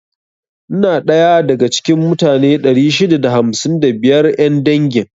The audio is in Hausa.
Ina daya da ga cikin mutane 655 'yan dangin.